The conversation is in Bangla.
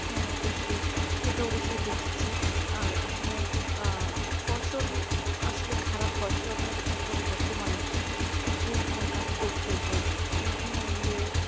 হ্যাঁ অবশ্যই সেটা অবশ্যই দেখেছি আর আসলে অ্যাঁ ফসল আসলে খারাপ হয় সরকার এখন বর্তমানে কিছু কিছু কাজ করছে যে বিনামূল্যে